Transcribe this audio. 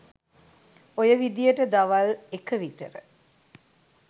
ඔය විදියට දවල් එක විතර